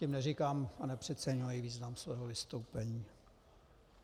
Tím neříkám a nepřeceňuji význam svého vystoupení.